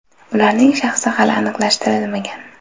Ularning shaxsi hali aniqlashtirilmagan.